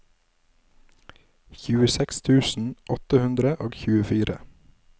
tjueseks tusen åtte hundre og tjuefire